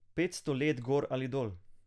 Petsto let gor ali dol.